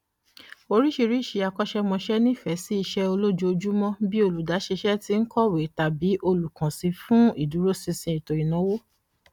oríṣiríṣi akọṣẹmọṣẹ nífẹẹ sí iṣẹ olójoojúmọ bí i olùdáṣẹṣe tí ń kọwé tàbí olùkànsí fún ìdúró sinsin ètò ìnáwó